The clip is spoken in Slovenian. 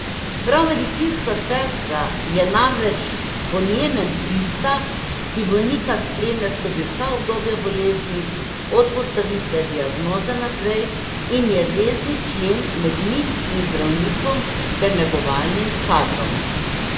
Prav medicinska sestra je namreč po njenem tista, ki bolnika spremlja skozi vsa obdobja bolezni, od postavitve diagnoze naprej, in je vezni člen med njim in zdravnikom ter negovalnim kadrom.